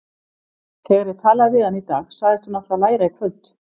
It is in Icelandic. Þegar ég talaði við hana í dag sagðist hún ætla að læra í kvöld.